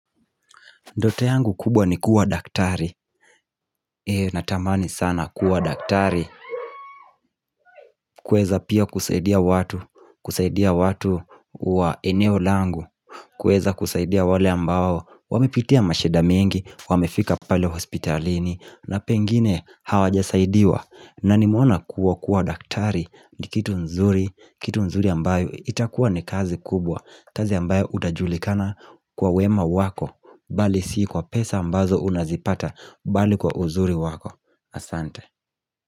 Ndoto yangu kubwa ni kuwa daktari Natamani sana kuwa daktari kuweza pia kusaidia watu. Kusaidia watu wa eneo langu kuweza kusaidia wale ambao wamepitia mashida mingi. Wamefika pale hospitalini na pengine hawajasaidiwa. Na nimoena kuwa kuwa daktari ni kitu nzuri Kitu nzuri ambayo itakuwa ni kazi kubwa kazi ambayo utajulikana kwa wema wako bali sii kwa pesa ambazo unazipata bali kwa uzuri wako. Asante.